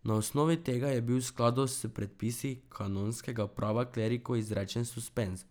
Na osnovi tega je bil v skladu s predpisi kanonskega prava kleriku izrečen suspenz.